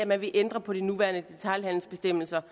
man vil ændre på de nuværende detailhandelsbestemmelser